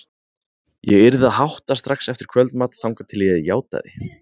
Ég yrði að hátta strax eftir kvöldmat þangað til ég játaði.